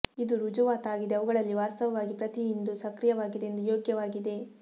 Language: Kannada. ಇದು ರುಜುವಾತಾಗಿದೆ ಅವುಗಳಲ್ಲಿ ವಾಸ್ತವವಾಗಿ ಪ್ರತಿ ಇಂದು ಸಕ್ರಿಯವಾಗಿದೆ ಎಂದು ಯೋಗ್ಯವಾಗಿದೆ